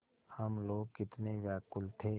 हम लोग कितने व्याकुल थे